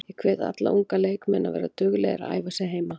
Ég hvet alla unga leikmenn að vera duglegir að æfa sig heima.